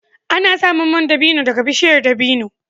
Ana samun man dabino daga bishiyar dabino